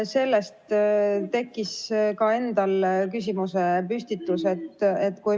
Sellest tekkis ka endal küsimus.